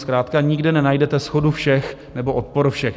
Zkrátka nikde nenajdete shodu všech nebo odpor všech.